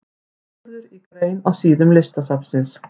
Sigurður í grein á síðum Listasafnsins.